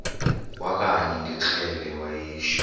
kwakanye ngekrele wayishu